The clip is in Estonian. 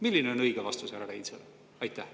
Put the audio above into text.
Milline on õige vastus, härra Reinsalu?